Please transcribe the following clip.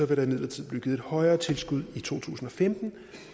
der imidlertid blive givet et højere tilskud i to tusind og femten